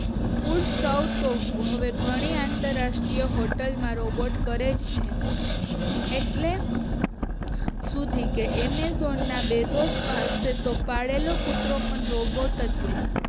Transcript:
ફૂલ સર્વ તો હવે ઘણી અંતરરાષ્ટ્રીય હોટેલ ના રોબોટ કરે જ છે એટલે અમેઝોન ના બેઝોઝ પાસે તો પાળેલો કૂતરો પણ રોબોટ જ છે